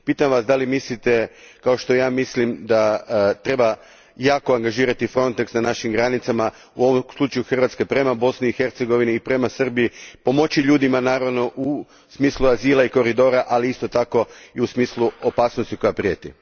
Pitam Vas mislite li kao što ja mislim da treba jako angažirati Frontex na našim granicama, u slučaju Hrvatske prema Bosni i Hercegovini i prema Srbiji, pomoći ljudima naravno u smislu azila i koridora, ali isto tako i u smislu opasnosti koja prijeti?